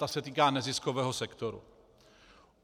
Ta se týká neziskového sektoru.